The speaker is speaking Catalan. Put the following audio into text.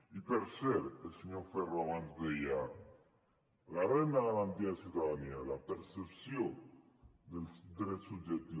i per cert el senyor ferro abans deia la renda garantida de ciutadania la percepció dels drets subjectius